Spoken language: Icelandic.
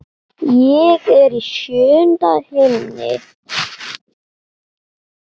Ég er í sjöunda himni.